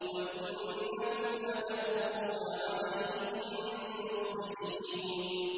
وَإِنَّكُمْ لَتَمُرُّونَ عَلَيْهِم مُّصْبِحِينَ